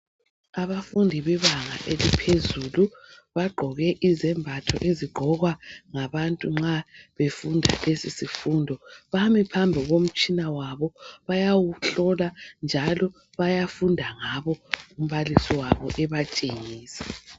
Abafundi bebanga eliphezulu. bagqoke izembatho ezigqokwa ngabantu nxa befunda lezi zifundo. Bami phambi komtshina wabo. Bayawuhlola njalo bayafunda ngabo umbalisi wabo ebatshengisa.